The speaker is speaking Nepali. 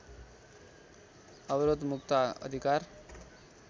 अवरोध मुक्त अधिकार